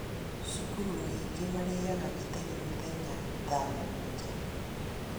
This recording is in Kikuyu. Cukuru nyingĩ marĩaga gĩtheri mũthenya tha mũganjwa